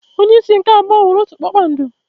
Onye isi nke abụọ nwere otu kpakpando.